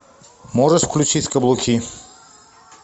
можешь включить каблуки